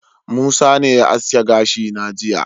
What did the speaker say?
Musa ne ya aske gashi na jiya.